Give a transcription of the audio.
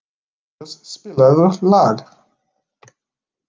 Júlíus, spilaðu lag.